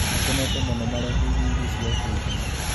Makenete mũno mareheirwo irio cia ũteithio